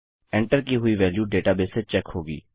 enter की हुई value database से चेक होगी